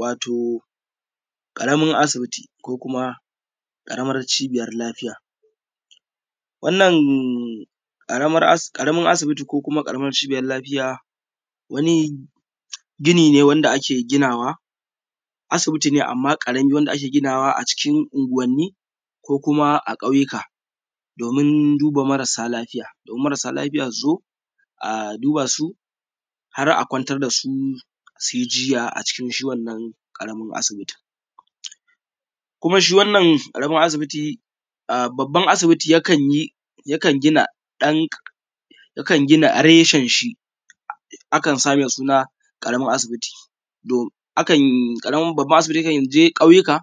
Wato ƙaramin asibiti ko kuma karamar cibiyar lafiya, wannan ƙaramin asibiti ko ƙaramin cibiyar kiwon lafiya, wani gini ne wanda ake ginawa asibiti ne amma karamin wanda ake ginawa a cikin unguwanni ko kuma a ƙauyuka domin duba marasa lafiya. Domin marasa lafiya su zo a duba su har a kwantar da su su yi jinya a cikin wannan ƙaramin asibiti. Kuma shi wannan ƙaramin asibiti yakan gina ɗan karamin, akan sa mai suna ƙaramin asibiti .Akan gina reshen shi a sa mai suna ƙaramin asibiti. Akan je ƙauyuka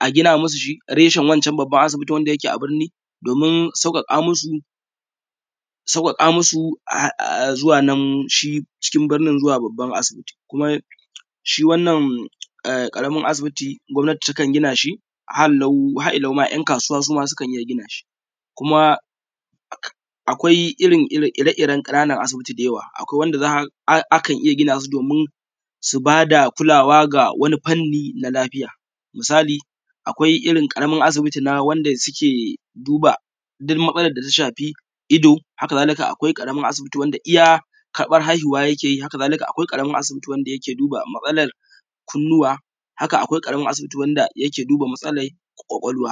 a gina musu shi reshen wancen babban asibitin na birni domin sauƙaƙa musu sauwaƙa musu zuwan nan cikin birnin zuwa babban asibitin. Kuma shi wannan ƙaramin asibiti gwabnati takan gina shi har ila yau yan kasuwa sukan iya gina shi, kuma akwai ire-iren kananan asibiti da yawa. Akwai wanda akan iya gina ta domin su ba da kulawa ga wani fanni na lafiya misali akwai irin ƙaramin asibiti na wanda suke duba duk matsalar da ta shafi ido. Haka zalika akwai wanda ita iya karbar haihuwa yake yi haka akwai ƙaramar asibiti wanda yake duba matsalar kunnuwa haka Akwai ƙaramin asibiti wanda yake duba matsalar ƙwaƙwalwa